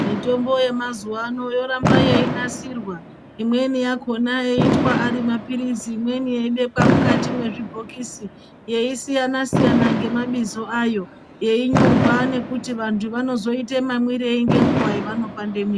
Mitombo yemazuva ano yoramba yeinasirwa imweni yakhona yoitwa ari maphirizi imweni yeibekwa mukati mwezvibhokisi yeisiyana siyana ngemabizo ayo yeinyorwa nekuti vantu vanozoita mamwirei ngenguva yavanopandwe mwiri.